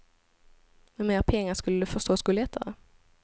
Med mer pengar skulle det förstås gå lättare.